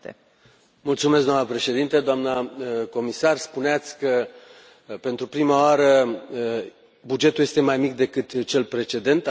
Doamnă președintă, doamnă comisar, spuneați că, pentru prima oară, bugetul este mai mic decât cel precedent. Aveți dreptate.